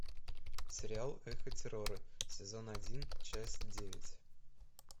сериал эхо террора сезон один часть девять